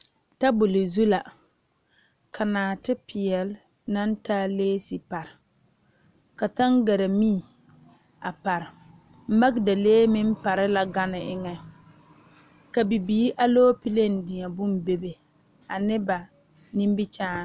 Tabol zu la ka naate peɛle naŋ taa leese pare ka tangaare mie magdalee meŋ pare la gane eŋa ka bibiiri alɔpele deɛ bonne bebe ane ba nimikyaane.